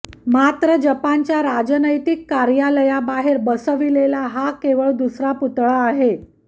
मात्र जपानच्या राजनैतिक कार्यालयाबाहेर बसविलेला हा केवळ दुसरा पुतळा आहे